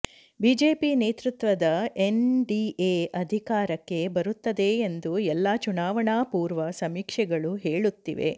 BJP ನೇತೃತ್ವದ NDA ಅಧಿಕಾರಕ್ಕೆ ಬರುತ್ತದೆ ಎಂದು ಎಲ್ಲಾ ಚುನಾವಣಾ ಪೂರ್ವ ಸಮೀಕ್ಷೆಗಳು ಹೇಳುತ್ತಿವೆ